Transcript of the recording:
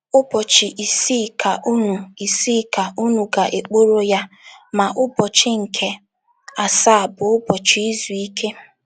“ Ụbọchị isii ka unu isii ka unu ga - ekporo ya, ma ụbọchị nke asaa bụ ụbọchị izu ike.